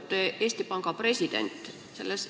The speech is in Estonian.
Lugupeetud Eesti Panga president!